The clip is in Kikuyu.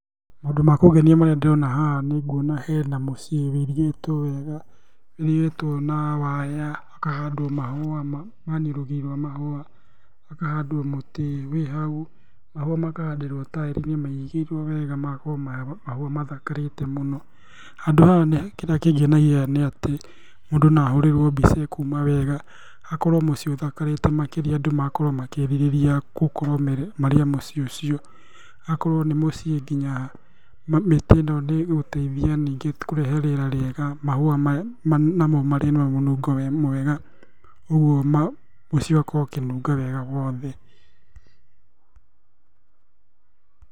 Maũndũ ma kũngenia marĩa ndĩrona haha nĩnguona hena mũciĩ wũirigĩtwo wega, wũirigĩtwo na waya, ũkahandwo mahũa, yaani rũgiri rwa mahũa, hakahandwo mũti wĩ hau, mahũa makahandĩrwo taĩri-inĩ mairigĩirwo wega magakorwo mahũa mathakarĩtie mũno. Handũ haha nĩ kĩrĩa kĩngenagia nĩ atĩ, mũndũ no ahũrĩrwo mbica ĩkuuma wega akorwo muciĩ ũthakarĩte makĩria andũ magakorwo makĩĩrirĩria gũkorwo marĩ a mũciĩ ũcio. Agakorwo nĩ mũciĩ nginya mĩtĩ ĩno nĩ ĩgũteithia ningĩ kũrehe rĩera rĩega, mahũa maya namo marĩ na mũnungo mwega, ũguo mũciĩ ũgakorwo ũkĩnunga wega guothe.